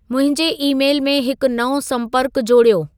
मुंहिंजे ई-मेल में हिकु नओं संपर्कु जोड़ियो